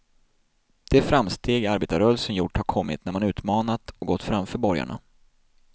De framsteg arbetarrörelsen gjort har kommit när man utmanat och gått framför borgarna.